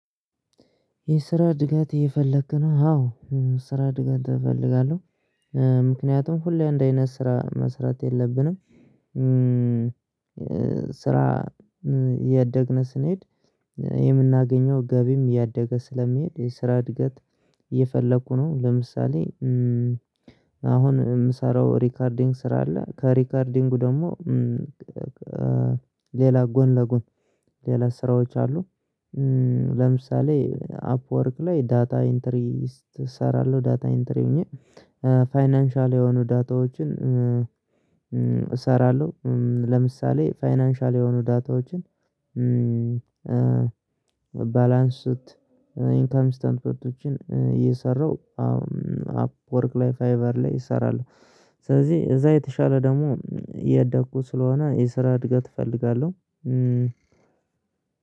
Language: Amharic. የስራ እድገት እየፈለክ ነው አዎ ስራ እድገት እፈልጋለሁ። ምክንያቱም ሁሌ አንድ አይነት ስራ መስራት የለብንም። ስራ እያደግነ ስንሄድ የምናገኘው ገቢም እያደገ ስለሚሄድ የስራ እድገት። እየፈለኩ ነው። ለምሳሌ። አሁን እምሰራው ሪከርዲንግ ስራ አለ ከሪከርዲንጉ ደግሞ። ሌላ ጎን ለጎን ሌላ ስራዎች አሉ። ለምሳሌ አፕወርክ ላይ ዳታ ኢንተሪ እሰራለሁ። ዳታ ኢንተሪ ሆኜ ፋይናንሻል የሆኑ ዳታዎችን እሰራለሁ። ለምሳሌ ፋይናንሻል የሆኑ ዳታዎችን ባላንሱት ኢንካምስታንቶችን እየሰራው አዎ። አፕወርክ ላይ ፋይቨር ላይ እሰራለሁ። ስለዚህ እዛ የተሻለ ደግሞ እያደኩ ስለሆነ የስራ እድገት እፈልጋለሁ።